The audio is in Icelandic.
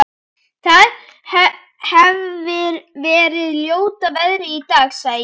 Það hefir verið ljóta veðrið í dag- sagði ég.